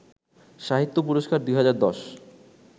সাহিত্য পুরস্কার ২০১০